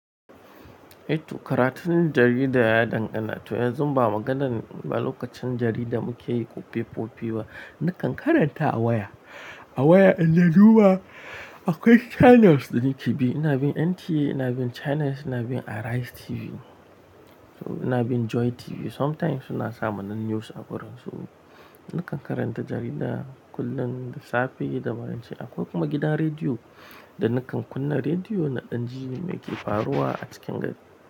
Eh to karatun jarida ya dangana tu yan ba maganar ba lokacin jarida muke yi ko fefofi ba. Nakan karanta a waya, a waya in dai duba akwai channels da nake bi. Ina bin NT, ina bin Channels, ina bin Arise TV, so ina bin Joy TV. Sometimes suna samar nan news a wurin su. Nakan karanta jarida kullum, da safe da maraice. Akwai kuma gidan rediyo da nakan kunna rediyo na ɗan ji me ke faruwa a cikin gari.